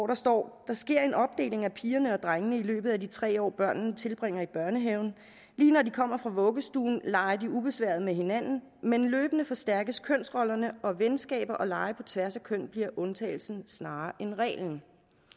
der står der sker en opdeling af pigerne og drengene i løbet af de tre år børnene tilbringer i børnehaven lige når de kommer fra vuggestuen leger de ubesværet med hinanden men løbende forstærkes kønsrollerne og venskaber og lege på tværs af køn bliver undtagelsen snarere end reglen